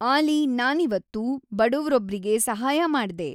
ಆಲಿ ನಾನಿವತ್ತು ಬಡವ್ರೊಬ್ರಿಗೆ ಸಹಾಯ ಮಾಡ್ದೆ